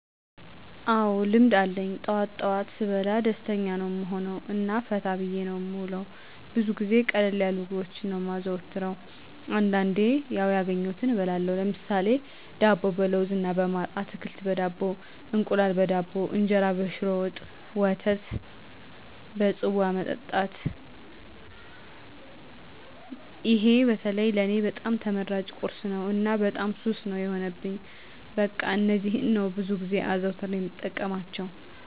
አዎ ልምድ አለኝ ጠዋት ጠዋት ስበላ ደስተኛ ነዉ እምሆነዉ እና ፈታ ብየ ነዉ እምዉለዉ። ብዙ ጊዜ ቀለል ያሉ ምግቦችን ነዉ እማዘወትር አንዳንዴም ያዉ ያገኘዉትን እበላለሁ ለምሳሌ፦ ዳቦ በለዉዝ እና በማር፣ አትክልት በዳቦ፣ እንቁላል በዳቦ፣ እንጀራ በሽሮ ወጥ፣ ወተት በፅዋ መጠጣት ይሄ በተለይ ለኔ በጣም ተመራጭ ቁርሴ ነዉ እና በጣም ሱስ ነዉ የሆነብኝ በቃ እነዚህን ነዉ ብዙ ጊዜ አዘዉትሬ እምጠቀማቸዉ።